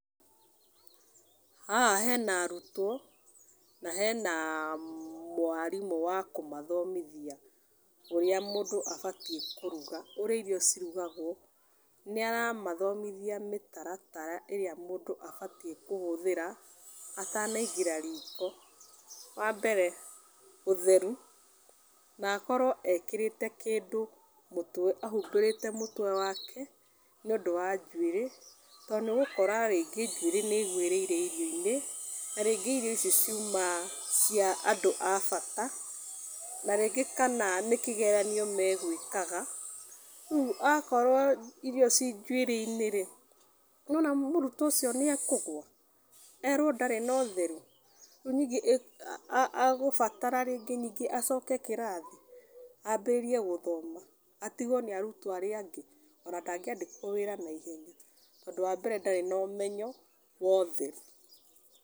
Haha hena arutwo, na hena mwarimũ wa kũmathomithia ũrĩa mũndũ abatiĩ kũruga . Ũrĩa irio cirugagwo. Nĩ aramathomithia mĩtaratara ĩrĩa mũndũ abatiĩ kũhũthĩra, atanaingĩra riiko. Wa mbere ũtheru, na akorwo ekĩrĩte kĩndũ mũtwe ahumbĩrĩte mũtwe wake, nĩ ũndũ wa njuĩrĩ. To nĩ ũgũkora rĩngĩ njuĩrĩ nĩ ĩgũĩrĩire irio-inĩ, na rĩngĩ irio icio ciuma cia andũ a bata, na rĩngĩ kana nĩ kĩgeranio megwĩkaga, rĩu akorwo irio ci njuĩrĩ-inĩ rĩ, nĩwona mũrutwo ũcio nĩ ekũgũa. Erwo ndarĩ na ũtheru. Rĩu ningĩ agũbatara rĩngĩ ningĩ acoke kĩrathi, ambĩrĩrie gũthoma atigwo nĩ arutwo arĩa angĩ ona ndangĩandĩkwo wĩra tondũ ũndũ wa mbere ndarĩ na ũmenyo, wa ũtheru.